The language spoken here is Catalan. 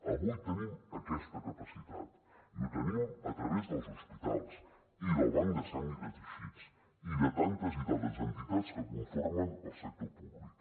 avui tenim aquesta capacitat i ho tenim a través dels hospitals i del banc de sang i de teixits i de tantes i tantes entitats que conformen el sector públic